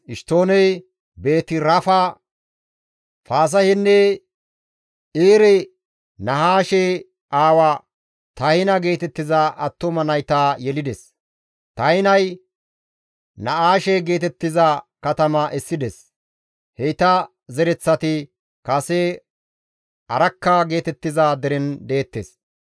Eshtooney Beeti-Rafa, Fasahenne Ir-Nahaashe aawa Tahina geetettiza attuma nayta yelides; Tahinay Na7aashe geetettiza katama essides; heyta zereththati kase Arakka geetettiza deren deettes.